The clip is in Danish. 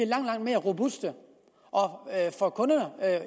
langt mere robuste for kunderne